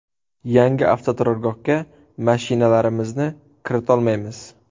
Yangi avtoturargohga mashinalarimizni kiritolmaymiz.